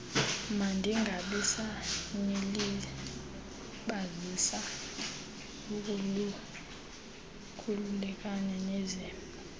mandingabisanilibazisa khululekani nize